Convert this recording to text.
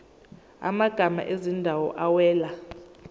amagama ezindawo awela